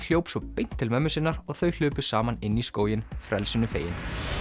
hljóp svo beint til mömmu sinnar og þau hlupu saman inn í skóginn frelsinu fegin